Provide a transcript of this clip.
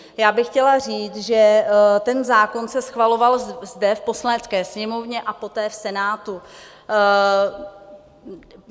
Já bych chtěla říct, že ten zákon se schvaloval zde v Poslanecké sněmovně a poté v Senátu.